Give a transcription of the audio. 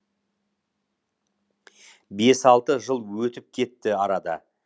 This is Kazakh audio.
бес алты жыл өтіп кетті арада